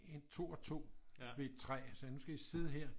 2 og 2 ved et træ og så sagde jeg nu skal I sidde her